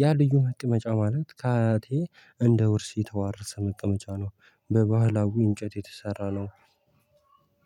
ያ ልዩ መቀመጫ ማለት ከአያቴ እንደ ውርስ የተዋረሰ መቀመጫ ነው። በባህላዊ እንጨት የተሰራ ነው።